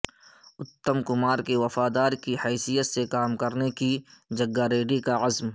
اتم کمار کے وفادار کی حیثیت سے کام کرنے جگا ریڈی کا عزم